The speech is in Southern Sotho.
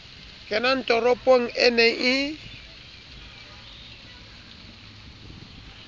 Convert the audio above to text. kenang toropong e ne e